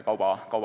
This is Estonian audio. Aivar Sõerd.